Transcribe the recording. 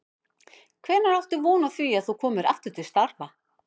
Hvenær áttu von á því að þú komir aftur til starfa?